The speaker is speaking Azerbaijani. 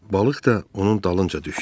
Balıq da onun dalınca düşdü.